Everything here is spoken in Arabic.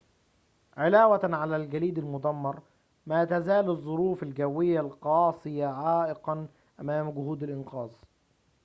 علاوةً على الجليد المدمر ما تزال الظروف الجوية القاسية عائقاً أمام جهود الإنقاذ